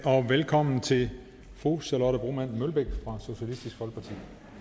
og velkommen til fru charlotte broman mølbæk fra socialistisk folkeparti